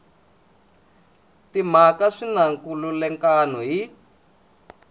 timhaka swi na nkhulukelano hi